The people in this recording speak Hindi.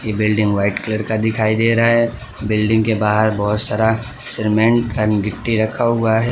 ये बिल्डिंग व्हाइट कलर का दिखाई दे रहा है बिल्डिंग के बाहर बहोत सारा सीमेंट एंड गिट्टी रखा हुआ है।